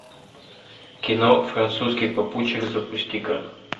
кино французский попутчик запусти ка